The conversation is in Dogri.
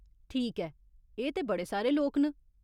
ठीक ऐ, एह् ते बड़े सारे लोक न।